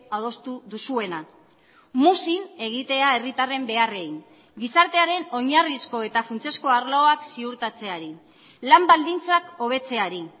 adostu duzuena muzin egitea herritarren beharrei gizartearen oinarrizko eta funtsezko arloak ziurtatzeari lan baldintzak hobetzeari